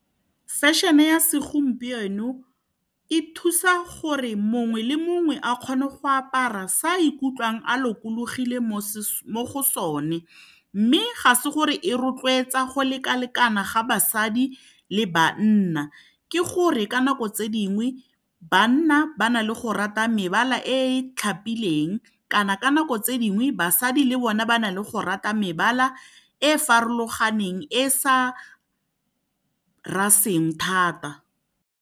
Fashion-e ya segompieno e thusa gore mongwe le mongwe a kgone go apara se a ikutlwang a lokologile mo go sone. Mme ga se gore e rotloetsa go lekalekana ga basadi le banna. Ke gore ka nako tse dingwe, banna ba na le go rata mebala e tlhapileng kana ka nako tse dingwe basadi le bone ba na le go rata mebala e e farologaneng e sa thata.